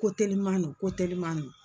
Ko teliman no ko teliman no.